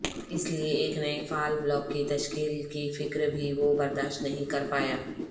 اسی لئے ایک نئے فعال بلاک کی تشکیل کی فکربھی وہ برداشت نہیں کرپایا